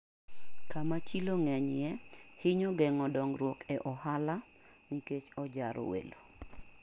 Kama chilo ng'enyie hinyo geng'o dongruok e ohala nikech ojaro welo.